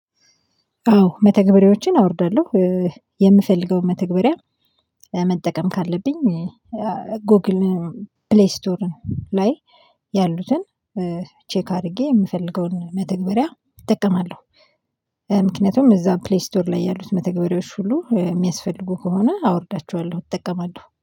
አዎ መተግበሪያዎችን አወርዳለሁ የምፈልገውን መተግበሪያ መጠቀም ካለብኝ ጎግል ፕሌይ ስቶርን ላይ ያሉትን ቼክ አድርጌ የምፈልገውን መተግበሪያ እጠቀማለሁ። ምክንያቱም እዛው ፕሌይ ስቶር ላይ ያሉት መተግበሪያዎች ሁሉ የሚያስፈልጉ ከሆነ አወርዳቸዋለሁ እጠቀማለሁ